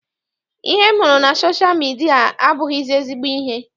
Ihe m hụrụ na sosha midia abụghị ezigbo ihe.